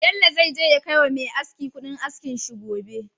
Bello zai je ya kai wa Me aski Ƙudin askin shi gobe